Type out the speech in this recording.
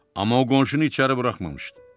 Amma o qonşunu içəri buraxmamışdı.